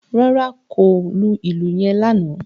Rárá o, kò lù ìlù yen lánàá